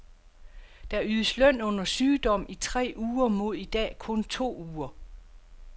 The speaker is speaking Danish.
Der ydes løn under sygdom i tre uger mod i dag kun to uger.